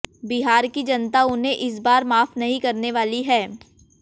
बिहार की जनता उन्हें इस बार माफ नहीं करने वाली है